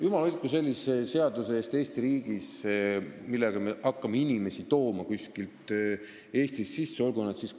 Jumal hoidku Eesti riigis sellise seaduse eest, millega me hakkaksime inimesi kuskilt Eestisse sisse tooma!